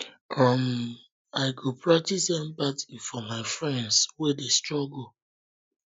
um i go practice empathy for my friends wey dey struggle